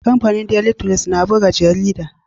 Kamfanin daily trust na buga jarida